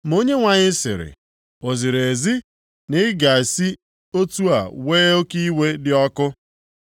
Ma Onyenwe anyị sịrị, “O ziri ezi na ị ga-esi otu a wee oke iwe dị ọkụ?”